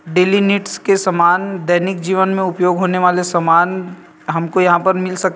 Daily needs के सामान दैनिक जीवन में उपयोग होने वाले सामान हमको यहाँ पे मिल सकते है ।